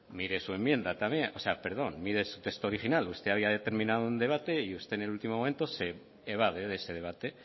mire su enmienda también perdón mire su texto original usted había determinado un debate y usted en el último momento se evade de ese debate